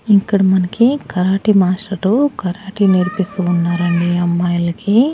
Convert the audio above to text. ఇక్కడ మనకి karate master karate నేర్పిస్తూ ఉన్నారండి అమ్మాయిలకి.